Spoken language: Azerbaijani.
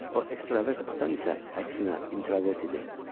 O ekstravert, atam isə əksinə, introvert idi.